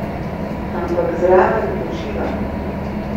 Ampak zraven uživam!